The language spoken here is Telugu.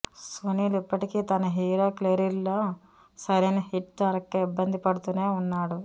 సునీల్ ఇప్పటికీ తన హీరో కెరీర్లో సరైన హిట్ దొరక్క ఇబ్బంది పడుతూనే ఉన్నాడు